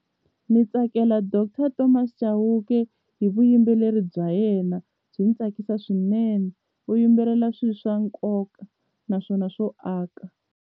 Ni tsakela Doctor Thomas Chauke hi vuyimbeleri bya yena byi ni tsakisa swinene u yimbelela swi swa nkoka naswona swo aka.